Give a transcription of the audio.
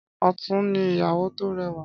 Ọ̀tún ní ìyàwó tó rẹwà.